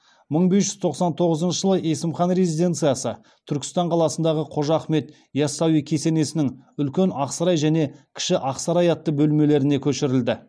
мың бес жүз тоқсан тоғызыншы жылы есім хан резиденцияны түркістан қаласындағы қожа ахмет ясауи кесенесінің үлкен ақсарай және кіші ақсарай атты бөлмелеріне көшірілді